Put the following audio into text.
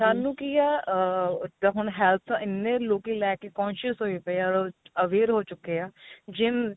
ਸਾਨੂੰ ਕੀ ਆ ah ਜੋ ਹੁਣ health ਇੰਨੇ ਲੋਕੀ ਲੈ ਕੇ conscious ਹੋਏ ਪਏ ਆ aware ਹੋ ਚੁੱਕੇ ਆ gym